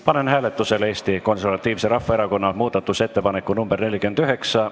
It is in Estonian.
Panen hääletusele Eesti Konservatiivse Rahvaerakonna muudatusettepaneku nr 49.